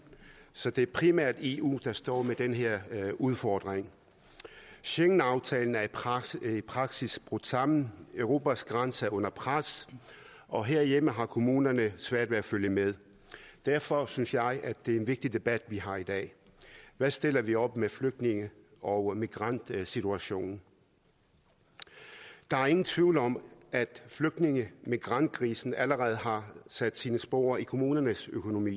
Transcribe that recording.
så det er primært eu der står med den her udfordring schengenaftalen er i praksis praksis brudt sammen europas grænser er under pres og herhjemme har kommunerne svært ved at følge med derfor synes jeg at det er en vigtig debat vi har i dag hvad stiller vi op med flygtninge og migrantsituationen der er ingen tvivl om at flygtninge migrantkrisen allerede har sat sine spor i kommunernes økonomi